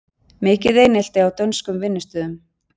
Mikið einelti á dönskum vinnustöðum